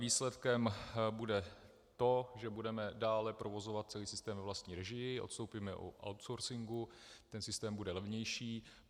Výsledkem bude to, že budeme dále provozovat celý systém ve vlastní režii, odstoupíme od outsourcingu, ten systém bude levnější.